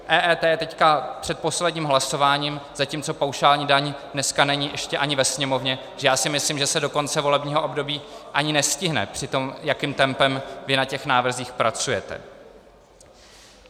EET je teď před posledním hlasováním, zatímco paušální daň dneska není ještě ani ve Sněmovně, takže já si myslím, že se do konce volebního období ani nestihne při tom, jakým tempem vy na těch návrzích pracujete.